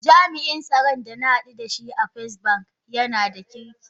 Jami’in tsaron da na hadu da shi a Firstbank jiya yana da kirki.